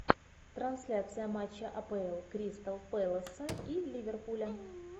трансляция матча апл кристал пэласа и ливерпуля